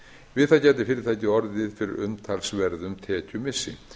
við það gæti fyrirtækið orðið fyrir umtalsverðum tekjumissi